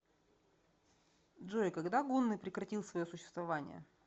джой когда гунны прекратил свое существование